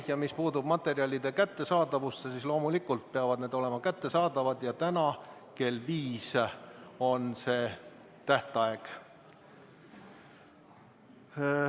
Ja mis puutub materjalide kättesaadavusse, siis loomulikult peavad need olema kättesaadavad ja täna kell viis on see tähtaeg.